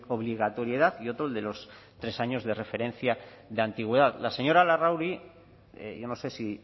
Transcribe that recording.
obligatoriedad y otro el de los tres años de referencia de antigüedad la señora larrauri yo no sé si